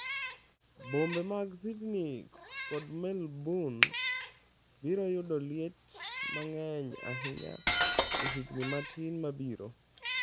Bombe mag Sydney kod Melbourne biro yudo liet mang'eny ahinya e higni matin mabiro